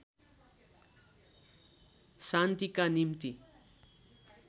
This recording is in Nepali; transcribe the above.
शान्तिका निम्ति